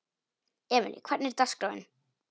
Emely, hvernig er dagskráin?